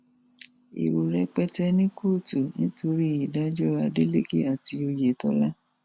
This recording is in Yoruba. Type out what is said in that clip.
èrò rẹpẹtẹ ní kóòtù nítorí ìdájọ adeleke àti òyetòlá